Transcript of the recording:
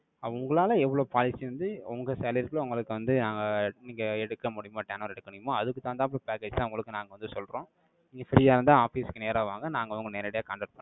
உங்களால, எவ்ளோ policy வந்து, உங்க salary க்குள்ள, உங்களுக்கு வந்து, நாங்க, இங்க எடுக்க முடியுமோ, turn over எடுக்க முடியுமோ, அதுக்குத்தான் தகுந்தாப்ல package தான் உங்களுக்கு நாங்க வந்து சொல்றோம். நீங்க free ஆ இருந்தா, office க்கு நேரா வாங்க. நாங்க உங்களை நேரடியா contact